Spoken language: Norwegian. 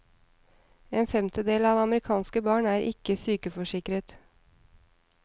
En femtedel av amerikanske barn er ikke sykeforsikret.